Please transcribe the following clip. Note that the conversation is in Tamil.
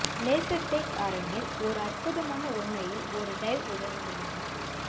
லேசர் டேக் அரங்கில் ஒரு அற்புதமான உண்மையில் ஒரு டைவ் உதவுகிறது